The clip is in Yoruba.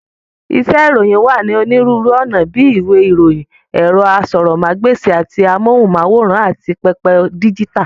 Iṣẹ́ ìròyìn wá ní onírúurú ọ̀nà bíi ìwé ìròyìn, ẹ̀rọ asọ̀rọ̀mágb'èsì àti amóhùnm'áwòrán, àti pẹpẹ díjítà.